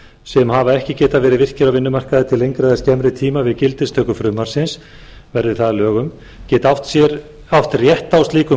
sem hafa ekki getað verið virkir á vinnumarkaði til lengri eða skemmri tíma við gildistöku frumvarpsins verði það að lögum geti átt rétt á slíkum